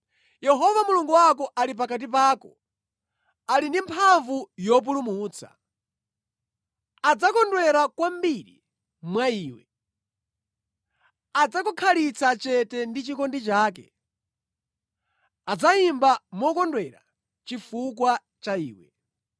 Yehova Mulungu wako ali pakati pako, ali ndi mphamvu yopulumutsa. Adzakondwera kwambiri mwa iwe, adzakukhalitsa chete ndi chikondi chake, adzayimba mokondwera chifukwa cha iwe.”